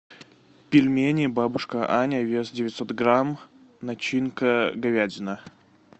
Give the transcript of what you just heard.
пельмени бабушка аня вес девятьсот грамм начинка говядина